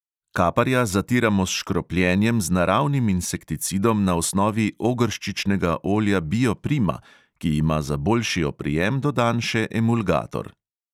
Kaparja zatiramo s škropljenjem z naravnim insekticidom na osnovi ogrščičnega olja bio prima, ki ima za boljši oprijem dodan še emulgator.